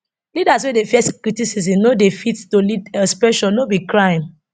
leaders wey dey fear criticism no dey fit to lead expression no be crime